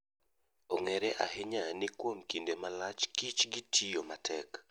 Ong'ere ahinya ni kuom kinde malach kich gi tiyo matek.